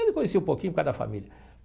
Eu conheci um pouquinho por causa da família.